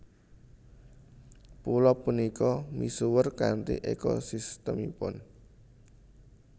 Pulo punika misuwur kanthi ekosistemipun